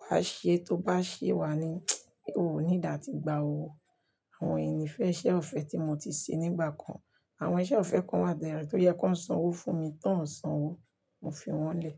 wà á ṣe tó bá ṣe wá ni, o ò ní dà tí gba owó. Àwọn ẹni fẹ́ iṣẹ́ ọ̀fẹ́ tí mo ti ṣe nígbà kan. Àwọn iṣẹ́ ọ̀fẹ́ kan wà bè yen tó yẹ kó san owó fún mi tán ó san owó, mo fi wọ́n lẹ̀